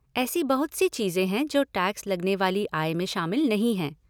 ऐसी बहुत सी चीज़ें हैं जो टैक्स लगने वाली आय में शामिल नहीं हैं।